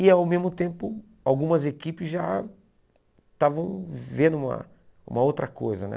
E, ao mesmo tempo, algumas equipes já estavam vendo uma uma outra coisa, né?